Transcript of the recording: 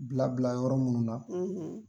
Bila bila yɔrɔ munnu na